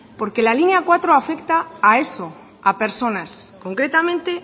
porque la línea cuatro afecta a eso a personas concretamente